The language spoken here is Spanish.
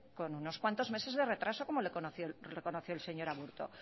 con unos cuantos meses de retraso como lo reconoció el señor aburto